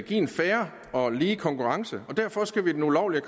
en fair og lige konkurrence og derfor skal vi den ulovlige